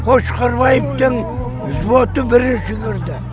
қошқарбаевтың взводы бірінші кірді